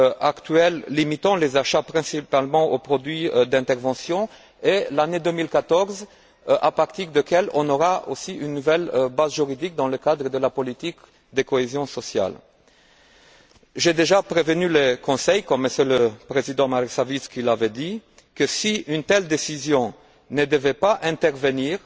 actuels limitant les achats principalement aux produits d'intervention, et l'année 2014, à partir de laquelle on aura aussi une nouvelle base juridique dans le cadre de la politique de cohésion sociale. J'ai déjà prévenu le Conseil, comme M. le Président Marek Sawicki l'avait dit, que, si une telle décision ne devait pas intervenir